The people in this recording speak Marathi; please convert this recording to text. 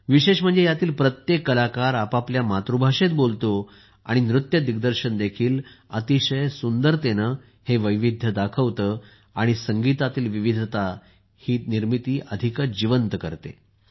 विशेष म्हणजे यातील प्रत्येक कलाकार आपापल्या मातृभाषेत बोलतो आणि नृत्य दिग्दर्शन देखील अतिशय सुंदरतेने हे वैविध्य दाखवते आणि संगीतातील विविधता तर ही निर्मिती अधिकच जिवंत करते